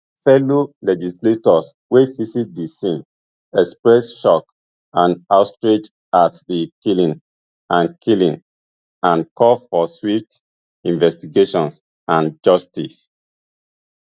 fellow legislators wey visit di scene express shock and outrage at di killing and killing and call for swift investigations and justice